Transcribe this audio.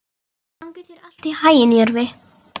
Gangi þér allt í haginn, Jörvi.